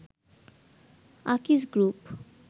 Akij group